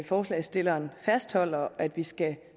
forslagsstillerne fastholder at vi skal